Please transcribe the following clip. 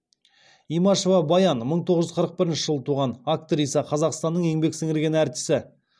имашева баян мың тоғыз жүз қырық бірінші жылы туған актриса қазақстанның еңбек сіңірген артисі